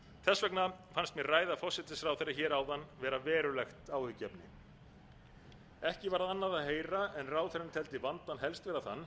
þess vegna fannst mér ræða forsætisráðherra hér áðan vera verulegt áhyggjuefni ekki var annað að heyra en ráðherrann teldi vandann helstan þann að